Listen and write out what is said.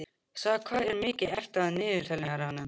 Saga, hvað er mikið eftir af niðurteljaranum?